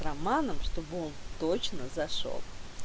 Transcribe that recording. романом чтобы он точно зашёл